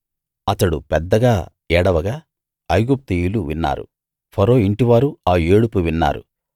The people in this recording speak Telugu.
అతడు పెద్దగా ఏడవగా ఐగుప్తీయులు విన్నారు ఫరో ఇంటివారు ఆ ఏడుపు విన్నారు